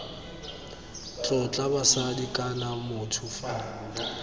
tlotla basadi kana motho fa